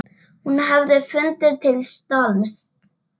Hún hefði fundið til stolts.